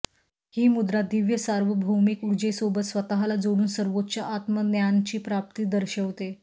ही मुद्रा दिव्य सार्वभौमिक ऊर्जेसोबत स्वतःला जोडून सर्वोच्च आत्मज्ञानची प्राप्ती दर्शवते